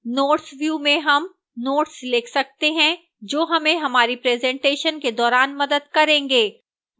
notes view में हम notes लिख सकते हैं जो हमें हमारी presentation के दौरान मदद करेंगे